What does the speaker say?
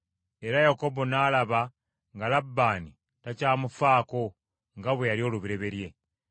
Era Yakobo n’alaba nga Labbaani takyamufaako nga bwe yali olubereberye.